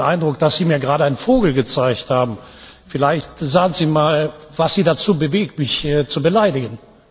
Ich hatte den Eindruck, dass Sie mir gerade einen Vogel gezeigt haben. Vielleicht sagen Sie mal, was Sie dazu bewegt, mich hier zu beleidigen?